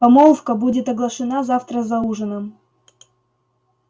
помолвка будет оглашена завтра за ужином